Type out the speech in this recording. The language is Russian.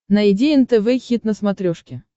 найди нтв хит на смотрешке